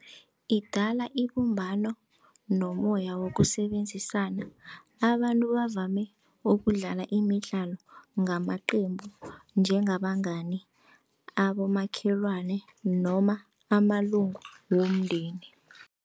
Idala ibumbano nomoya wokusebenzisana abantu bavame ukudlala imidlalo ngamaqembu njengabangani abomakhelwane noma amalunga womndeni.